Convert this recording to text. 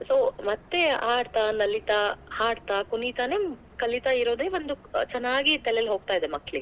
So ಮತ್ತೆ ಆಡ್ತಾ ನಲಿತಾ, ಹಾಡ್ತಾ ಕುಣಿತಾನೇ ಕಲಿತ ಇರೋದೇ ಒಂದು ಚನ್ನಾಗಿ ತಲೆಲಿ ಹೋಗ್ತಾ ಇದೆ ಮಕ್ಕಳಿಗೆ.